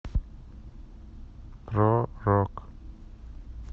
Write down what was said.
про рок